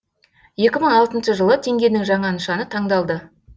екі мың алтыншы жылы теңгенің жаңа нышаны таңдалды